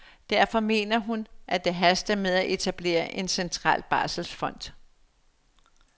Derfor mener hun, at det haster med at etablere en central barselsfond.